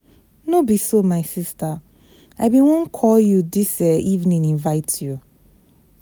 No be so my sister, I bin wan call you dis um evening invite you.